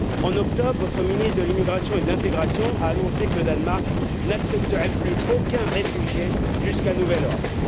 En octobre, votre ministre de l'immigration et de l'intégration a annoncé que le Danemark n'accepterait plus aucun réfugié jusqu'à nouvel ordre.